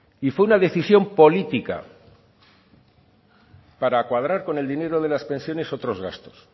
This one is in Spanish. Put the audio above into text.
y fue una decisión política para cuadrar con el dinero de las pensiones otros gastos